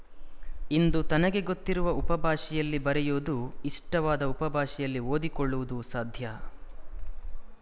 ಇಂದು ತನಗೆ ಗೊತ್ತಿರುವ ಉಪಭಾಷೆಯಲ್ಲಿ ಬರೆಯುವುದು ಇಷ್ಟವಾದ ಉಪಭಾಷೆಯಲ್ಲಿ ಓದಿ ಕೊಳ್ಳುವುದು ಸಾಧ್ಯ